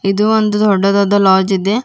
ಇದು ಒಂದು ದೊಡ್ಡದಾದ ಲೊಡ್ಜ್ ಇದೆ.